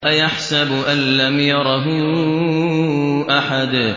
أَيَحْسَبُ أَن لَّمْ يَرَهُ أَحَدٌ